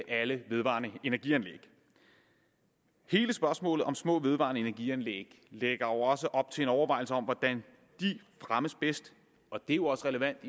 alle vedvarende energi anlæg hele spørgsmålet om små vedvarende energi anlæg lægger jo også op til en overvejelse om hvordan de fremmes bedst og det er jo også relevant